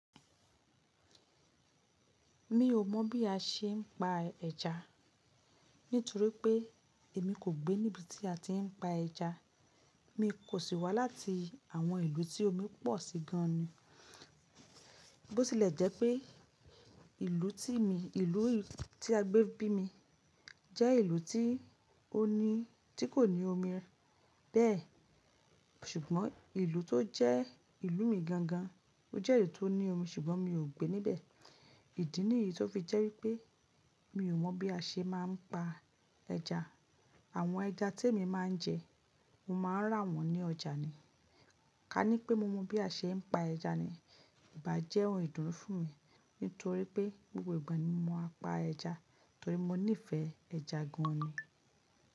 Mi ò mọ̀ bí a ṣe ń pa ẹja nítorí pé èmi kò gbé níbi tí a ti ń pa ẹja. Mi kò sì wá láti àwọn ìlú tí omi pọ̀ sí gan ni. Bó tilẹ̀ jẹ́ pé ìlú tí mi, ìlú tí a gbé bí mi jẹ́ ìlú tí ó ní, tí kò ní omi bẹ́ẹ̀ ṣùgbọ́n ìlú tó jẹ́ ìlú mi gan gan, ó jẹ́ ìlú tó ní omi ṣùgbọ́n mi ò gbé níbẹ̀. Ìdí nìyí tó fi jẹ́ wípé mi ò mọ̀ bí a ṣe máa ń pa ẹja. Àwọn ẹja tí èmi máa ń jẹ, mo má n rà wọ́n ní ọjà ni. Ka ní pé mo mọ bí a ṣe ń pa ẹja ni, ìbá jẹ́ ohun ìdúnu fún mi nítorí pé gbogbo ìgbà ni mo máa pa ẹja torí mo nífẹ̀ẹ́ ẹja gan ni.